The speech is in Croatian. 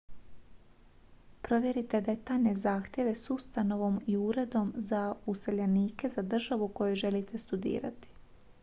provjerite detaljne zahtjeve s ustanovom i uredom za useljenike za državu u kojoj želite studirati